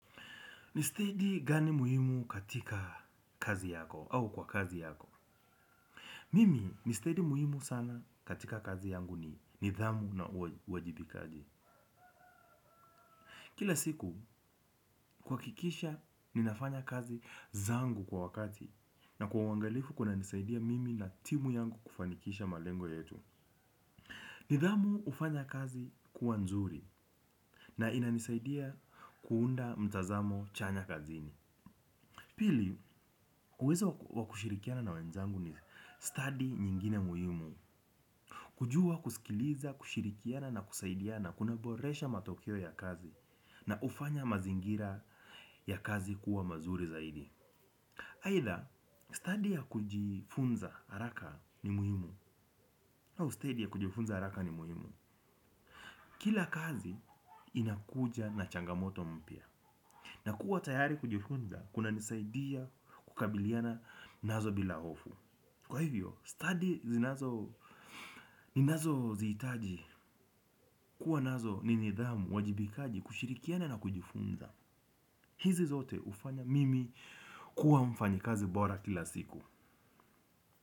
Nisteidi gani muhimu katika kazi yako au kwa kazi yako. Mimi nisteidi muhimu sana katika kazi yangu ni nidhamu na uwajibikaji. Kila siku kuhakikisha ninafanya kazi zangu kwa wakati na kwa uangalifu kunanisaidia mimi na timu yangu kufanikisha malengo yetu. Nidhamu hufanya kazi kuwa nzuri na inanisaidia kuunda mtazamo chanya kazini. Pili, uwezo wa kushirikiana na wenzangu ni stadi nyingine muhimu. Kujua kusikiliza, kushirikiana na kusaidiana kunaboresha matokeo ya kazi na hufanya mazingira ya kazi kuwa mazuri zaidi. Aitha stadi ya kujifunza haraka ni muhimu au stedi ya kujifunza haraka ni muhimu. Kila kazi inakuja na changamoto mpya. Nidhamu hufanya kazi kuwa nzuri na inanisaidia kuunda mtazamo chanya kazini ninazozihitaji. Kuwa nazo ni nidhamu, uwajibikaji kushirikiana na kujifunza. Hizi zote hufanya mimi kuwa mfanyikazi bora kila siku.